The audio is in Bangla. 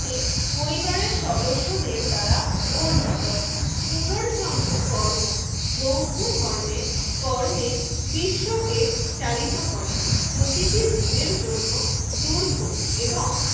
থে পরিবারের সদস্যদের দ্বারা অর্জিত পুনর্জন্ম কর্ম বৌদ্ধ ধর্মের কর্মে বিশ্বকে চালিত করে। প্রতিটি জীবের জন্য দুর্ভোগ এবং